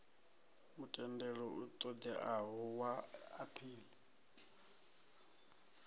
mutendelo u ṱoḓeaho wa aphili